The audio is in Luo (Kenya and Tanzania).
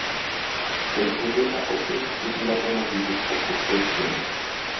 e kinde ma oket chik matamoji wuok oko otieno,